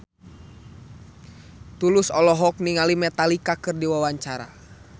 Tulus olohok ningali Metallica keur diwawancara